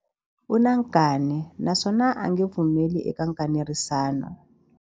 U na nkani naswona a nge pfumeli eka nkanerisano.